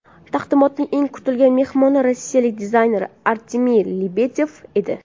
Taqdimotning eng kutilgan mehmoni Rossiyalik dizayner Artemiy Lebedev edi.